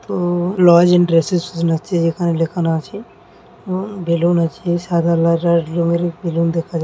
উম্ম নয়েস ইন্টার সেস নথি এখানে লেখানো আছে উম বেলুন আছে সাদা রঙের বেলুন দেখা যাচ্ছে।